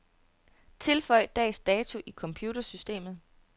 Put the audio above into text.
Tilføj dags dato i computersystemet.